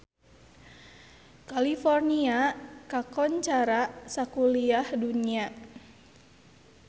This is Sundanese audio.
California kakoncara sakuliah dunya